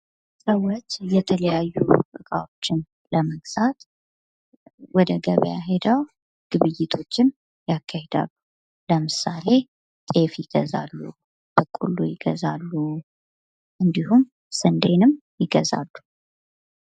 ሰዎች የተለያዩ እቃዎችን ለመግዛት ወደ ገበያ ሄደው ግብይቶችን ያካሄዳሉ ለምሳሌ ጤፍ ይገዛሉ በቆሎ ይገዛሉ እንዲሁም ሰንዴም ይገዛሉ::